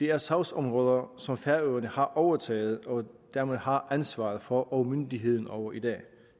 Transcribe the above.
er sagsområder som færøerne har overtaget og dermed har ansvaret for og myndigheden over i dag